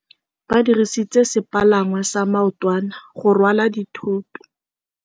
Ba dirisitse sepalangwasa maotwana go rwala dithôtô.